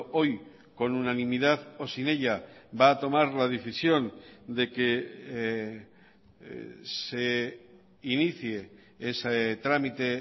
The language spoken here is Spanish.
hoy con unanimidad o sin ella va a tomar la decisión de que se inicie ese trámite